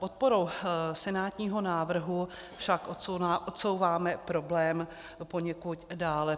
Podporou senátního návrhu však odsouváme problém poněkud dále.